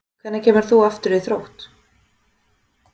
Hvenær kemur þú aftur í Þrótt?